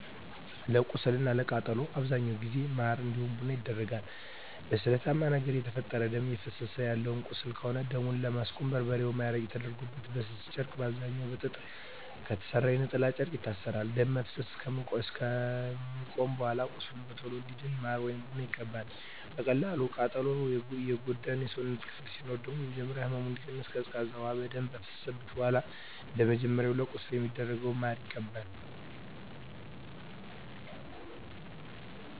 ለቁስል እና ለቃጠሎ በአብዛኛው ጊዜ ማር እንዲሁም ቡና ይደረጋል። በስለታማ ነገር የተፈጠረ ደም እፈሰሰ ያለው ቁስል ከሆነ ደሙን ለማስቆም በርበሬ ወይም አረቄ ተደርጎበት በስስ ጨርቅ በአብዛኛዉ ከጥጥ በተሰራ የነጠላ ጨርቅ ይታሰራል። ደም መፍሰስ አከቆመም በኃላ ቁስሉ በቶሎ እንዲድን ማር ወይም ቡና ይቀባል። በቀላል ቃጠሎ የጎዳ የሰውነት ክፍል ሲኖር ደግሞ በመጀመሪያ ህመሙ እንዲቀንስ ቀዝቃዛ ውሃ በደንብ ከፈሰሰበት በኃላ እንደመጀመሪያው ለቁስል እንደሚደረገው ማር ይቀባል።